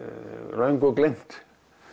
löngu gleymt